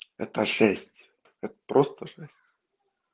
это жесть это просто жесть